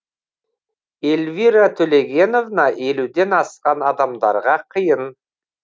эльвира төлегеновна елуден асқан адамдарға қиын